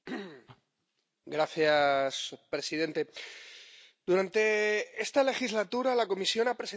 Señor presidente, durante esta legislatura la Comisión ha presentado dos listas de países.